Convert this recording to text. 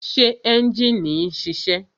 Ṣé ẹ́njìnì ń ṣiṣẹ́?